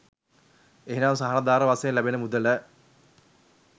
එනම් සහනාධාර වශයෙන් ලැබෙන මුදල